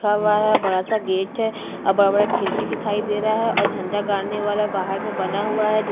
लिखा हुआ है और बड़ा सा गेट है और बड़ा-बड़ा खिड़की दिखाई दे रहा है और झंडा गाड़ने वाला बाहर में बना हुआ है।